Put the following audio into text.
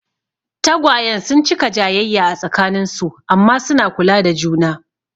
Tagwayen sun cika jayayya a tsakanin su amma suna kula da juna.